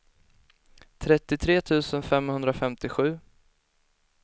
trettiotre tusen femhundrafemtiosju